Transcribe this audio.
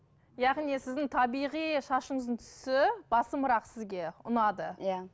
яғни сіздің табиғи шашыңыздың түсі басымырақ сізге ұнады иә